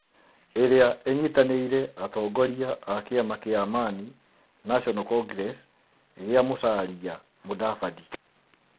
ĩrĩa ĩnyitanĩire atongoria a kĩama kĩa Amani National Congress, gĩa Musalia Mudavadi.